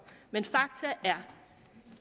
men faktum er